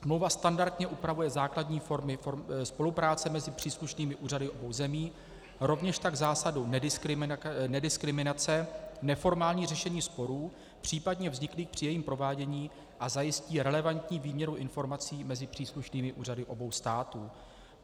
Smlouva standardně upravuje základní formy spolupráce mezi příslušnými úřady obou zemí, rovněž tak zásadu nediskriminace, neformální řešení sporů případně vzniklých při jejím provádění a zajistí relevantní výměnu informací mezi příslušnými úřady obou států.